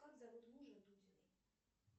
как зовут мужа дудиной